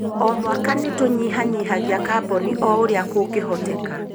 O mwaka nĩ tũnyihanyihagia kaboni o ũrĩa kũngĩhoteka.